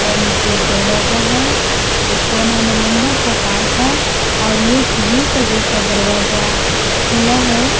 नीचे एक दरवाजा है वो कोना में लंबा सा पाइप है और ये एक यू के जैसा दरवाजा खुला है।